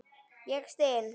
Ég styn.